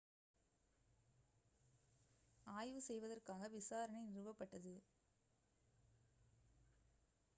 ஆய்வு செய்வதற்காக விசாரணை நிறுவப்பட்டது